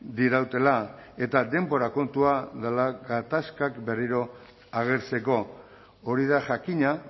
dirautela eta denbora kontua dela gatazkak berriro agertzeko hori da jakina